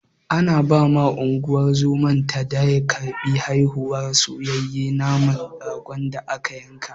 Ana bawa Unguwar zoman da ta karɓi haihuwar, soyayye naman ragon da aka yanka.